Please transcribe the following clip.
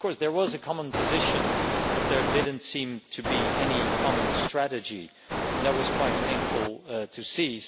There was a common position but there did not seem to be any common strategy, and that was quite painful to see.